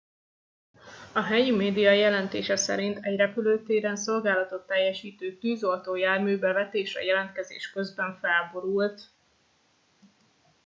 a helyi média jelentése szerint egy repülőtéren szolgálatot teljesítő tűzoltó jármű bevetésre jelentkezés közben felborult